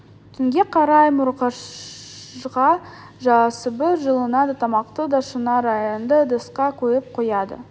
түнге қарай мұржаға жабысып жылынады тамақты да шынар арнайы ыдысқа құйып қояды